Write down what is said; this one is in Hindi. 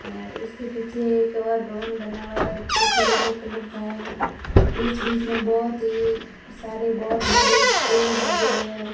और उसके पीछे एक और भवन बना हुआ है जो कि येलो कलर का है बीच बीच में बहोत ही सारे बहोत बड़े पेड़ लगे हुए हैं।